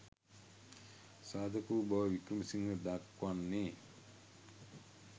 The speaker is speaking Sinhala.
සාධක වූ බවයි වික්‍රමසිංහ දක්වන්නේ.